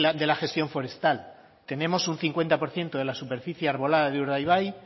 de la gestión forestal tenemos un cincuenta por ciento de la superficie arbolada de urdaibai